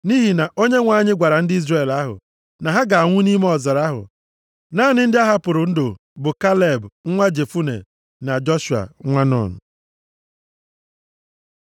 Nʼihi na Onyenwe anyị gwara ndị Izrel ahụ na ha ga-anwụ nʼime ọzara ahụ. Naanị ndị a hapụrụ ndụ bụ Kaleb, nwa Jefune, na Joshua nwa Nun.